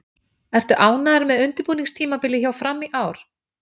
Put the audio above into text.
Ertu ánægður með undirbúningstímabilið hjá Fram í ár?